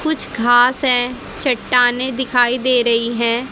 कुछ घास है चट्टानें दिखाई दे रही हैं।